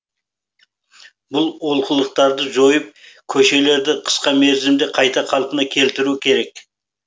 бұл олқылықтарды жойып көшелерді қысқа мерзімде қайта қалпына келтіру керек